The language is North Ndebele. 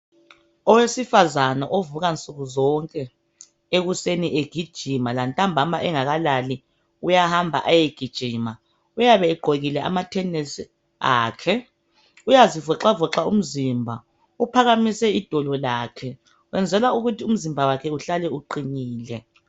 Owesifazana ovuka nsukuzonke ekuseni egijima ,lantambama engakalali uyahamba ayegijima uyabegqokile amatenesi akhe. Uyazivoxavoxa umzimba uphakamise idolo lakhe .Wenzela ukuthi umzimba wakhe uhlale uqinile.